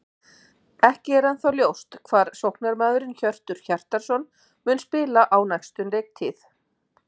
Ekki er ennþá ljóst hvar sóknarmaðurinn Hjörtur Hjartarson mun spila á næstu leiktíð.